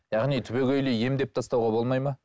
яғни түбегейлі емдеп тастауға болмайды ма